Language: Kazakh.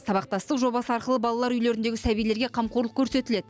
сабақтастық жобасы арқылы балалар үйлеріндегі сәбилерге қамқорлық көрсетіледі